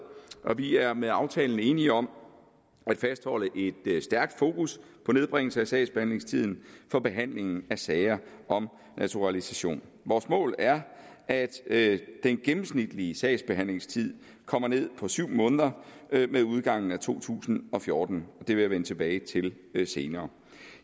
og vi er med aftalen enige om at fastholde et stærkt fokus på nedbringelse af sagsbehandlingstiden for behandlingen af sager om naturalisation vores mål er at at den gennemsnitlige sagsbehandlingstid kommer ned på syv måneder med udgangen af to tusind og fjorten og vil jeg vende tilbage til senere